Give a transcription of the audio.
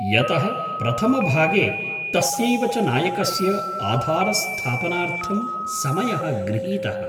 यतः प्रथमभागे तस्यैव च नायकस्य आधारस्थापनार्थं समयः गृहीतः ।